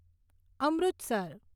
Amritsar